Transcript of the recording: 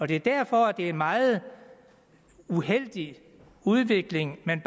det er derfor det er en meget uheldig udvikling man